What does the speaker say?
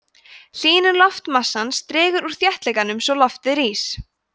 hlýnun loftmassans dregur úr þéttleikanum svo loftið rís